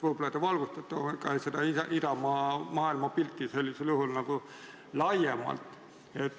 Võib-olla te valgustate seda Isamaa maailmapilti sellisel juhul laiemalt.